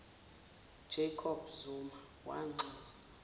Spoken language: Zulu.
jacob zuma wanxusa